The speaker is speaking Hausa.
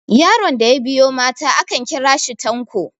yaron da ya biyo mata akan kira shi tanko